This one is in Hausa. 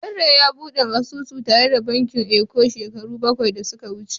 Barry ya bude asusu tare da bankin Eco shekaru bakwai da suka wuce.